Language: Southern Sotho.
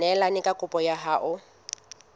neelane ka kopo ya hao